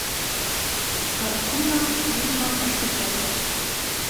картина ведьма пошукай